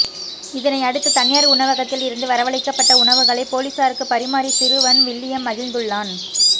இதனையடுத்து தனியார் உணவகத்தில் இருந்து வரவழைக்கப்பட்ட உணவுகளை பொலிசாருக்கு பரிமாறி சிறுவன் வில்லியம் மகிழ்ந்துள்ளான்